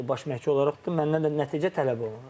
Baş məhçü olaraq da məndən də nəticə tələb olunur.